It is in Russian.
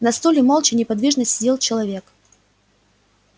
на стуле молча неподвижно сидел человек